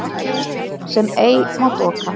sem ei má doka